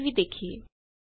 ਆਓ ਇਹ ਵੀ ਦੇਖੀਏ